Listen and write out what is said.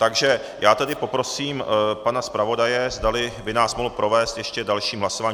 Takže já tedy poprosím pana zpravodaje, zdali by nás mohl provést ještě dalším hlasováním.